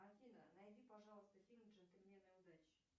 афина найди пожалуйста фильм джентльмены удачи